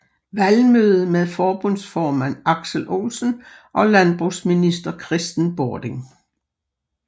Valgmøde med forbundsformand Aksel Olsen og landbrugsminister Kristen Bording